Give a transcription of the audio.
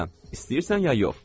Hə, istəyirsən ya yox?